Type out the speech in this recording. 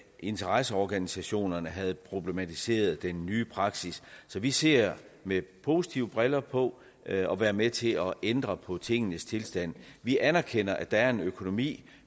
interesseorganisationerne havde problematiseret den nye praksis så vi ser med positive briller på at være med til at ændre på tingenes tilstand vi anerkender at der er en økonomi